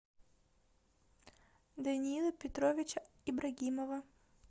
даниила петровича ибрагимова